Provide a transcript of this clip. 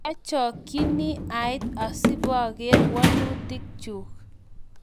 Kiachokchini ait asipoker walutik chuk